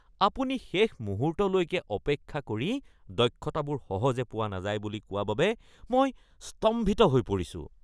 আপুনি শেষ মুহূৰ্তলৈকে অপেক্ষা কৰি দক্ষতাবোৰ সহজে পোৱা নাযায় বুলি কোৱা বাবে মই স্তম্ভিত হৈ পৰিছোঁ।